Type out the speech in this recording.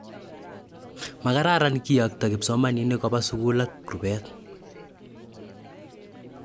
Makararan kiyokto kipsomaninik kopa sugul ak rupeet